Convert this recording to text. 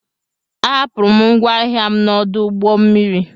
A hapụrụ m ngwa ahịa m n'ọdụ ụgbọ mmiri.